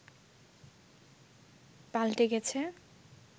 পাল্টে গেছে